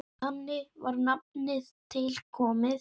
Þannig var nafnið til komið.